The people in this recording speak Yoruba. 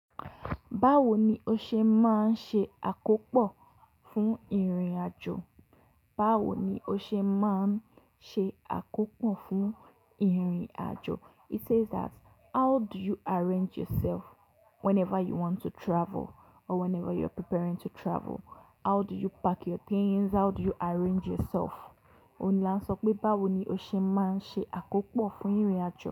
Báwo ni o ṣe máa ń ṣe àkópò fún ìrìn àjò? Báwo ni o ṣe máa ń ṣe àkópò fún ìrìn àjò? It says that how do you arrange yourself whenever you want to travel or whenever you're preparing to travel? How do you pack your things? How do you arrange yourself? Ó ní là ń sọ pé báwo ni o ṣe máa ń ṣe àkópò fún ìrìn àjò.